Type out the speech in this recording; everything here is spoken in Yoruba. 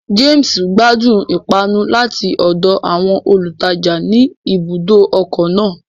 James gbadun ipanu lati ọdọ awọn olutaja ní ibùdó ọkọ náà